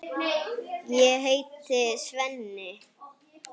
Ég heiti Svenni.